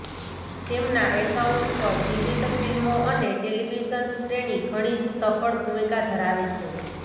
તેમના એકાઉન્ટ પર વિવિધ ફિલ્મો અને ટેલિવિઝન શ્રેણી ઘણી જ સફળ ભૂમિકા ધરાવે છે